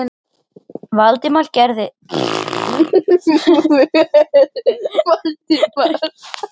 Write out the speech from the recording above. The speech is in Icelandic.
Hann nefnir ekki einusinni höfundinn eða verkið á nafn og